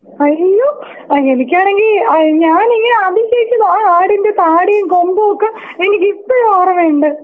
അയ്യോ ആ എനിക്കാണെങ്കി അത് ഞാൻ ഈ ആടിന്റെ ആ ആടിന്റെ താടിം കൊമ്പുമൊക്കെ എനിക്ക് ഇപ്പഴും ഓർമയുണ്ട്.